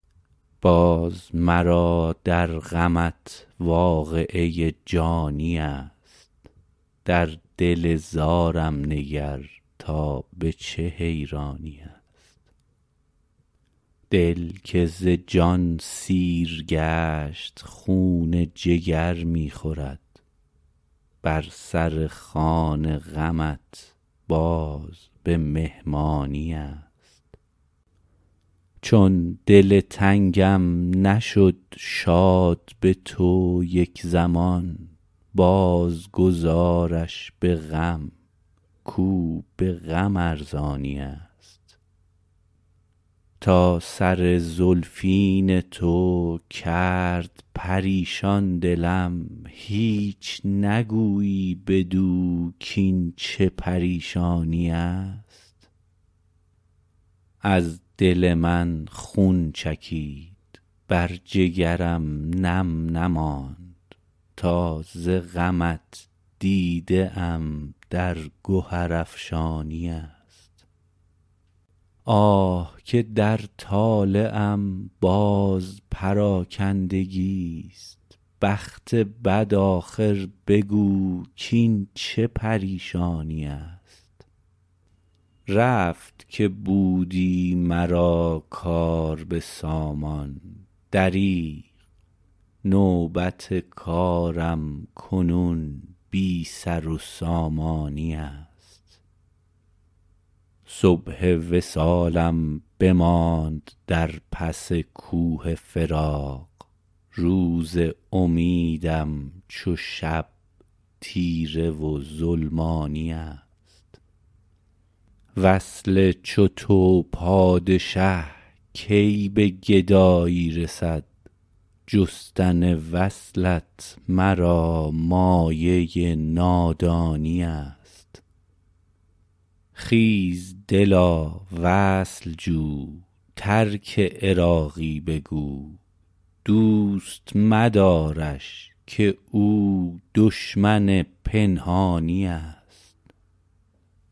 باز مرا در غمت واقعه جانی است در دل زارم نگر تا به چه حیرانی است دل که ز جان سیر گشت خون جگر می خورد بر سر خوان غمت باز به مهمانی است چون دل تنگم نشد شاد به تو یک زمان باز گذارش به غم کو به غم ارزانی است تا سر زلفین تو کرد پریشان دلم هیچ نگویی بدو کین چه پریشانی است از دل من خون چکید بر جگرم نم نماند تا ز غمت دیده ام در گهر افشانی است آه که در طالعم باز پراکندگی است بخت بد آخر بگو کین چه پریشانی است رفت که بودی مرا کار به سامان دریغ نوبت کارم کنون بی سر و سامانی است صبح وصالم بماند در پس کوه فراق روز امیدم چو شب تیره و ظلمانی است وصل چو تو پادشه کی به گدایی رسد جستن وصلت مرا مایه نادانی است خیز دلا وصل جو ترک عراقی بگو دوست مدارش که او دشمن پنهانی است